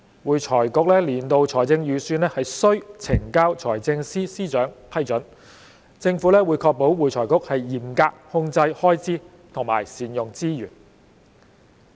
會財局年度財政預算須呈交財政司司長批准，政府會確保會財局嚴格控制開支和善用資源。